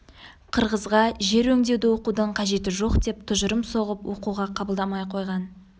қырғызға жер өңдеуді оқудың қажеті жоқ деп тұжырым соғып оқуға қабылдамай қойған